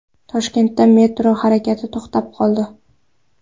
Toshkentda metro harakati to‘xtab qoldi.